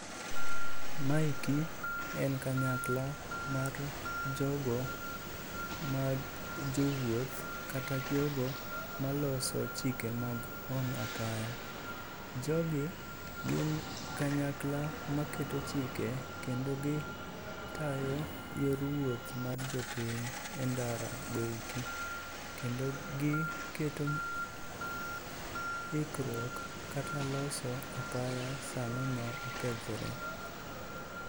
Maeki en kanyakla mar jogo mag jowuoth kata jogo maloso chike mag wang' apaya. Jogi gin kanyakla maketo chike kendo gitayo yor wuoth mar jopiny e ndarago eki. Kendo giketo ikruok kata loso apaya sano ma okethore.